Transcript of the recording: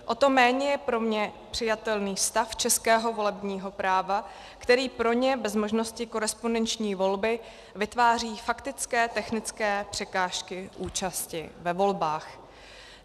O to méně je pro mne přijatelný stav českého volebního práva, který pro ně bez možnosti korespondenční volby vytváří faktické technické překážky účasti ve volbách.